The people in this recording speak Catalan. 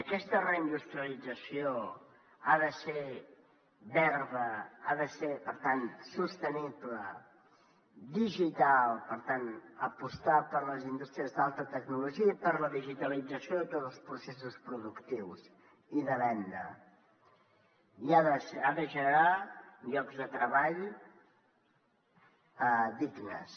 aquesta reindustrialització ha de ser verda ha de ser per tant sostenible digital per tant apostar per les indústries d’alta tecnologia i per la digitalització de tots els processos productius i de venda i ha de generar llocs de treball dignes